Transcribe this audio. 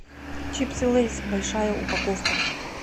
чипсы лейс большая упаковка